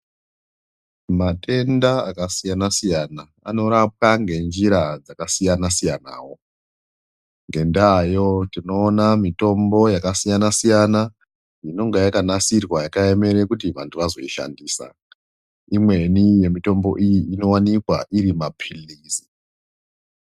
Matenda akasiyana siyana anorapwa ngenjira dzakasiyana siyanawo ngendayo tinoona mitombo yakasiyana siyana inonge yakanasirwa yakaemera kuti vantu vazoishandisa. Imweni yemitombo iyi inowanikwa iri mapilizi.